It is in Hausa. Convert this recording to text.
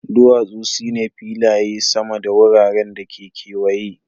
duwasu su ne filaye sama da wuraren da ke kewaye.